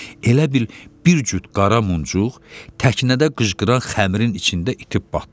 Elə bil bir cüt qara muncuq təknədə qıcğıran xəmirin içində itib batdı.